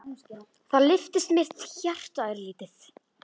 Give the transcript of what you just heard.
Og þá lyftist mitt hjarta örlítið.